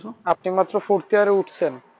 আপনি মাত্র fourth year এ উঠছেন